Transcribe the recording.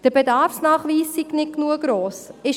Der Bedarfsnachweis sei nicht gross genug.